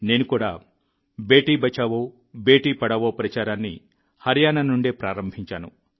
నేను కూడా బేటీ బచావోబేటీ పఢావో ప్రచారాన్ని హర్యానా నుండే ప్రారంభించాను